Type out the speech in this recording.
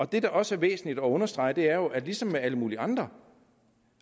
det der også er væsentligt at understrege er jo at ligesom med alle mulige andre